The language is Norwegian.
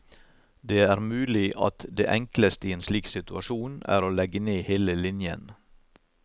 Det er mulig at det enkleste i en slik situasjon er å legge ned hele linjen.